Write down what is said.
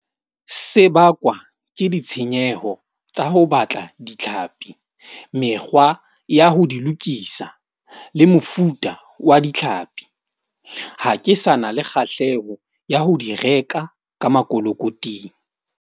Se bakwa ke ditshenyeho tsa ho batla ditlhapi, mekgwa ya ho di lokisa le mofuta wa ditlhapi. Ha ke sa na le kgahleho ya ho di reka ka makolokoting.